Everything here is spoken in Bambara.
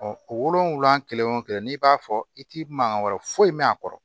wolonfila kelen o kelen n'i b'a fɔ i ti mankan wɛrɛ foyi mɛn a kɔrɔ